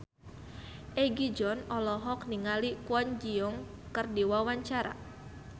Egi John olohok ningali Kwon Ji Yong keur diwawancara